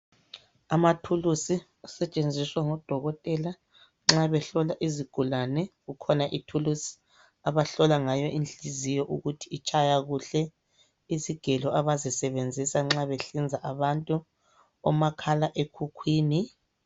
Amathulusi asetshenziswa ngodokotela nxa behlola izigulane. Kukhona ithulusi abahlola ngayo inhliziyo ukuthi itshaya kuhle, izigelo abazisebenzisa nxa behlinza abantu, omakhalekhukhwini.